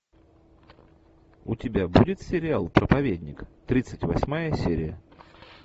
у тебя будет сериал проповедник тридцать восьмая серия